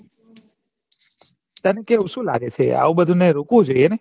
કેમ કે સુ લાગે છે આવું બધું રોકવું જોઈ એ ને